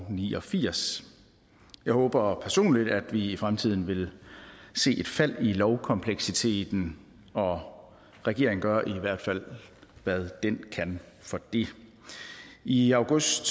ni og firs jeg håber personligt at vi i fremtiden vil se et fald i lovkompleksiteten og regeringen gør i hvert fald hvad den kan for det i august